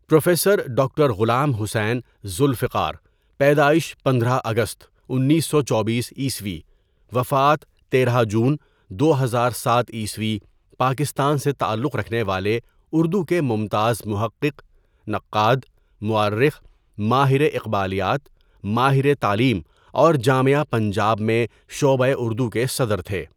Professor doctor Ghulam Hussain Zulfiqar پیدائش پندرہ اگست، انیسو چوبیسء وفات تیرہ جون، دو ہزار ساتء پاکستان سے تعلق رکھنے والے اردو کے ممتاز محقق، نقاد، مؤرخ، ماہرِ اقبالیات، ماہرِ تعلیم اور جامعہ پنجاب میں شعبۂ اردو کے صدر تھے.